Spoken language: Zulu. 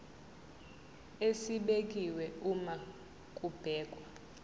esibekiwe uma kubhekwa